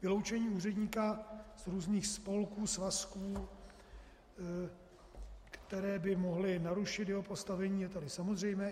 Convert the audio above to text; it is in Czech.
Vyloučení úředníka z různých spolků, svazků, které by mohly narušit jeho postavení, je tedy samozřejmé.